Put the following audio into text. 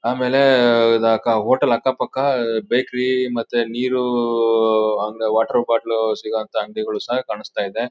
ಆಮೇಲೆ ಇದು ಹೋಟೆಲ್ ಅಕ್ಕಪಕ್ಕ ಬೇಕರಿ ಮತ್ತೆ ನೀರು ಹಂಗೆ ವಾಟರ್ ಬಾಟಲ್ ಸಿಗುವಂತಹ ಅಂಗಡಿಗಳು ಸಹ ಕಾಣಿಸ್ತಾ ಇದೆ.